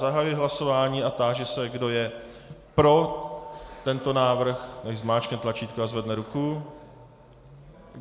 Zahajuji hlasování a táži se, kdo je pro tento návrh, nechť zmáčkne tlačítko a zvedne ruku.